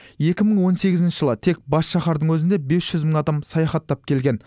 екі мың он сегізінші жылы тек бас шаһардың өзіне бес жүз мың адам саяхаттап келген